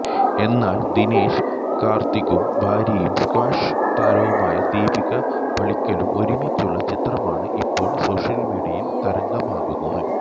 എന്നാല് ദിനേശ് കാര്ത്തിക്കും ഭാര്യയും സ്ക്വാഷ് താരവുമായ ദീപിക പള്ളിക്കലും ഒരുമിച്ചുള്ള ചിത്രമാണ് ഇപ്പോള് സോഷ്യല് മീഡിയയില് തരംഗമാകുന്നത്